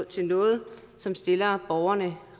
til noget som stiller borgerne